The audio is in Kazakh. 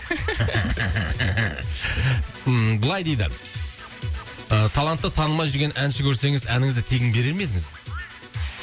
былай дейді ы таланты танылмай жүрген әнші көрсеңіз әніңізді тегін берер ме едіңіз